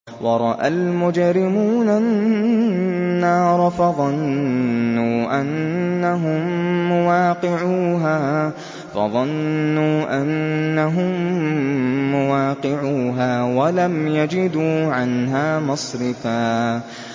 وَرَأَى الْمُجْرِمُونَ النَّارَ فَظَنُّوا أَنَّهُم مُّوَاقِعُوهَا وَلَمْ يَجِدُوا عَنْهَا مَصْرِفًا